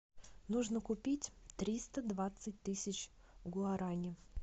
нужно купить триста двадцать тысяч гуарани